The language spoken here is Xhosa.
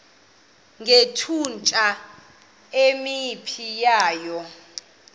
ngethutyana elingephi waya